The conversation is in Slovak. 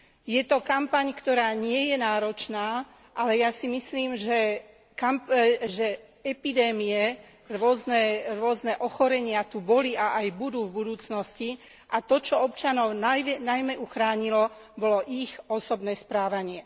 Je to kampaň, ktorá nie je náročná, ale ja si myslím, že epidémie, rôzne ochorenia tu boli a aj budú v budúcnosti a to, čo občanov najmä uchránilo, bolo ich osobné správanie.